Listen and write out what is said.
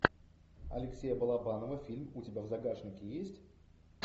алексея балабанова фильм у тебя в загашнике есть